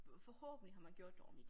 Forhåbentligt har man gjort det ordentligt